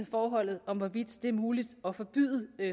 forhold hvorvidt det er muligt at forbyde